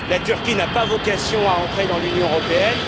La Turquie n'a pas vocation à entrer dans l'Union européenne.